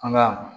An ga